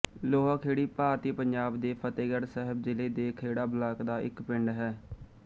ਲੋਹਾਖੇੜੀ ਭਾਰਤੀ ਪੰਜਾਬ ਦੇ ਫ਼ਤਹਿਗੜ੍ਹ ਸਾਹਿਬ ਜ਼ਿਲ੍ਹੇ ਦੇ ਖੇੜਾ ਬਲਾਕ ਦਾ ਇੱਕ ਪਿੰਡ ਹੈ